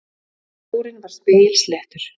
Sjórinn var spegilsléttur.